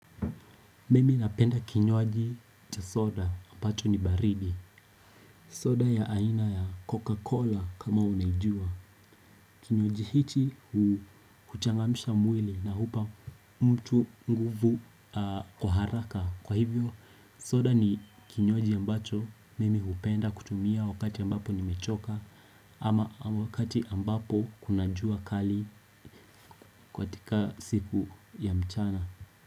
Mimi napenda kinywaji ya soda ambacho ni baridi. Soda ya aina ya Coca-Cola kama unaijua. Kinywaji hichi kuchangamisha mwili na hupa mtu nguvu kwa haraka. Kwa hivyo, soda ni kinywaji ambacho mimi hupenda kutumia wakati ambapo nimechoka ama wakati ambapo kuna jua kali kwatika siku ya mchana.